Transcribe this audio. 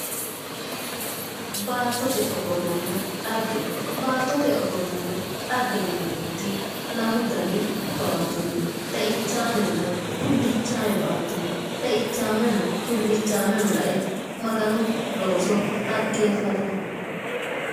Baattote ofollanna dhagge. Baattote ofollanna dhagge yineemmoti lamu dani baattono no. Xeichaamenna tullichaaame baatto no. Xeichaameno tullichaaameno lae maganu looso dhaggeeffatumma.